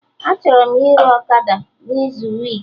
Achọrọ m ire ọkada n'izu week